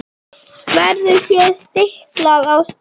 Verður hér stiklað á stóru.